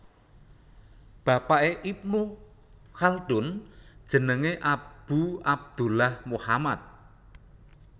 Bapaké Ibnu Khaldun jenengé Abu Abdullah Muhammad